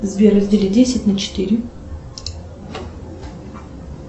сбер раздели десять на четыре